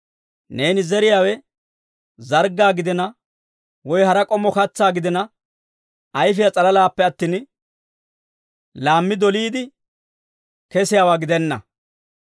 Neeni zeriyaawe zarggaa gidina woy hara k'ommo katsaa gidina, ayfiyaa s'alalaappe attin, lammi doliide kesiyaawaa gidenna.